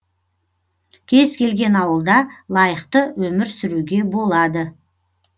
кез келген ауылда лайықты өмір сүруге болады